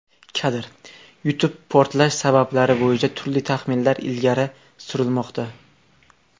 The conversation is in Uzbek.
Kadr: YouTube Portlash sabablari bo‘yicha turli taxminlar ilgari surilmoqda.